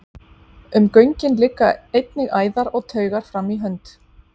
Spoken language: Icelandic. um göngin liggja einnig æðar og taugar fram í hönd